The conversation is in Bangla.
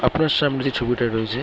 আপনার সামনে যে ছবিটা রয়েছে--